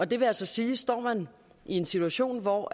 det vil altså sige at står man i en situation hvor